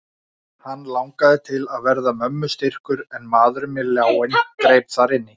Hann langaði til að verða mömmu styrkur en maðurinn með ljáinn greip þar inn í.